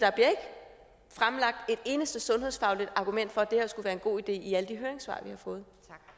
eneste sundhedsfagligt argument for at det her skulle være en god idé i alle de høringssvar vi har fået